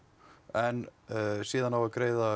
en síðan á að greiða